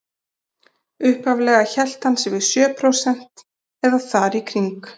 Upphaflega hélt hann sig við sjö prósent eða þar í kring.